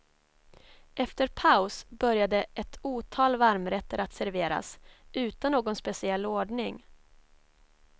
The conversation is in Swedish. Efter paus började ett otal varmrätter att serveras, utan någon speciell ordning.